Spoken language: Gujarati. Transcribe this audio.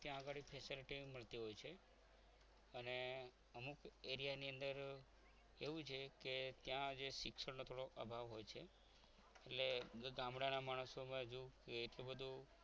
ત્યાં ગાડી facilities મળતી હોય છે અને અમુક area ની અંદર એવું છે કે ત્યાં શિક્ષણનો થોડો અભાવ હોય છે એટલે ગામડાના માણસોમાં હજુ એટલું બધું